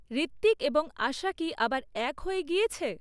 ঋত্বিক এবং আশা কি আবার এক হয়ে গিয়েছে?